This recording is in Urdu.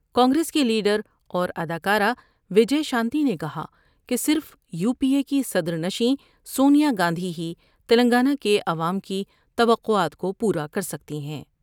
کانگریس کی لیڈ راوراداکارہ و جے شانتی نے کہا کہ صرف یو پی اے کی صدرنشین سونیا گاندھی ہی تلنگانہ کے عوام کی تو قعات کو پورا کر سکتی ہیں ۔